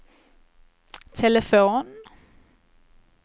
telefon